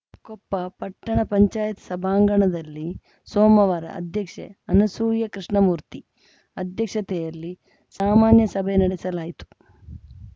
ಕೊಪ್ಪ ಪಟ್ಟಣ ಪಂಚಾಯತ್ ಸಭಾಂಗಣದಲ್ಲಿ ಸೋಮವಾರ ಅಧ್ಯಕ್ಷೆ ಅನಸೂಯ ಕೃಷ್ಣಮೂರ್ತಿ ಅಧ್ಯಕ್ಷತೆಯಲ್ಲಿ ಸಾಮಾನ್ಯ ಸಭೆ ನಡೆಸಲಾಯಿತು